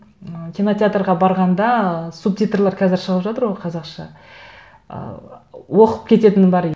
ы кинотеатрға барғанда субтитрлар қазір шығып жатыр ғой қазақша ы оқып кететінім бар